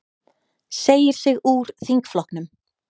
Segir sig úr þingflokknum